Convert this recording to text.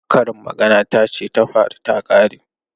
Karin magana ta ce ta faru ta kare.